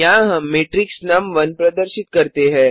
यहाँ हम मैट्रिक्स नुम1 प्रदर्शित करते हैं